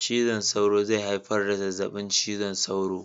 Cizon sauro zai haifar da zazzaɓin cizon sauro